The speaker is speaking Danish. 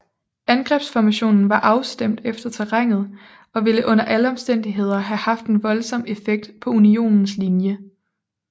Angrebsformationen var afstemt efter terrænet og ville under alle omstændigheder have haft en voldsom effekt på Unionens linje